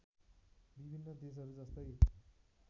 विभिन्न देशहरू जस्तै